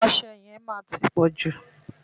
Ọṣẹ yẹn máa ti pọ̀jù.